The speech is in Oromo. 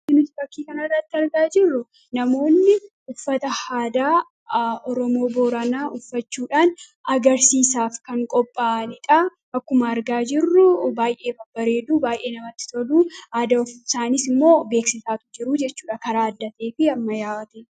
ani nuti bakkii kan aarratti argaa jirru namoonni uffata haadaa romoboranaa uffachuudhaan agarsiisaaf kan qophaanidhaa akkuma argaa jirruu baay'ee babbareeduu baay'ee namatti toluu aada usaanis immoo beeksitaatu jiruu jechuudha karaa addatee fi amma yaawate